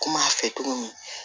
Kum'a fɛ cogo min